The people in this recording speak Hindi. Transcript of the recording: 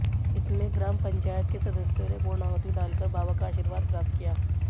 इसमें ग्राम पंचायत के सदस्यों ने पूर्णाहुति डालकर बाबा का आशीर्वाद प्राप्त किया